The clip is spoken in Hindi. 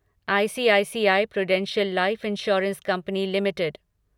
ICICI Prudential life insurance company limited